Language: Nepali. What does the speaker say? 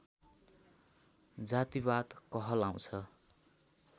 जातिवाद कहलाउँछ